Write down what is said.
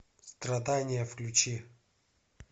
страдания включи